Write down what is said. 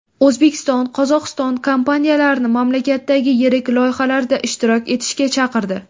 O‘zbekiston Qozog‘iston kompaniyalarini mamlakatdagi yirik loyihalarda ishtirok etishga chaqirdi.